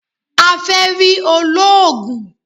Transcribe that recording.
A fẹ rí olóògùn